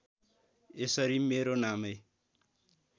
यसरी मेरो नामै